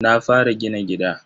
Na fara gina gida.